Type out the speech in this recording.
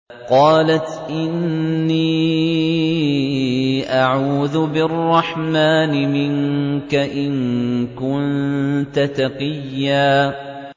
قَالَتْ إِنِّي أَعُوذُ بِالرَّحْمَٰنِ مِنكَ إِن كُنتَ تَقِيًّا